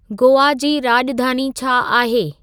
गोआ जी राॼधानी छा आहे